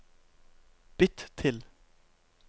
bytt til